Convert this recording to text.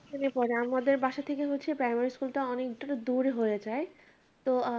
পড়ে আমাদের বাসা থেকে হচ্ছে primary school টা অনেক দূরে হয়ে যায়। তো